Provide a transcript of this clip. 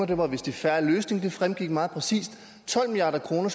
det var vist i fair løsning det fremgik meget præcist tolv milliard kroner